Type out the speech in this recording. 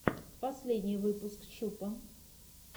последний выпуск чупа